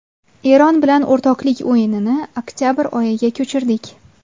Eron bilan o‘rtoqlik o‘yinini oktabr oyiga ko‘chirdik.